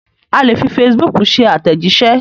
A lè fi facebook ṣe àtẹ̀jíṣẹ́.